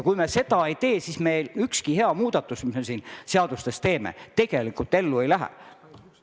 Kui me seda ei tee, siis meil ükski hea muudatus, mis me siin seadustes teeme, tegelikult ellu ei lähe.